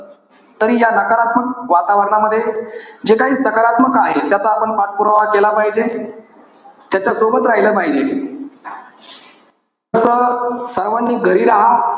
तरी या नकारात्मक वातावरणामध्ये, जे काही साकारत्मक आहे, त्याचा आपण पाठपुरावा केला पाहिजे. त्याच्या सोबत राहील पाहिजे. तर सर्वानी घरी राहा.